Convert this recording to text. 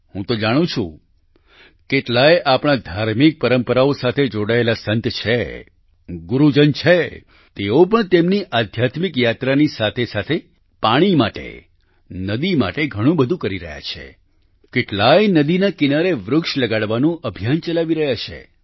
હું તો જાણું છું કેટલાય આપણા ધાર્મિક પરંપરાઓ સાથે જોડાયેલા સંત છે ગુરુજન છે તેઓ પણ તેમની આધ્યાત્મિક યાત્રાની સાથેસાથે પાણી માટે નદી માટે ઘણું બધું કરી રહ્યા છે કેટલાયે નદીના કિનારે વૃક્ષ લગાવવાનું અભિયાન ચલાવી રહ્યા છે